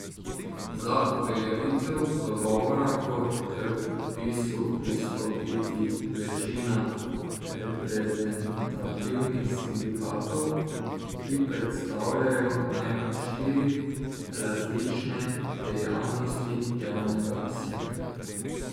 Za uveljavitev dogovora mora k podpisu pristopiti večina reprezentativnih sindikatov, ki predstavljajo najmanj štiri različne dejavnosti javnega sektorja.